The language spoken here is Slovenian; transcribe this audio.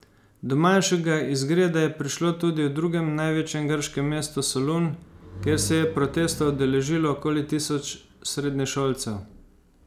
Do manjšega izgreda je prišlo tudi v drugem največjem grškem mestu Solun, kjer se je protesta udeležilo okoli tisoč srednješolcev.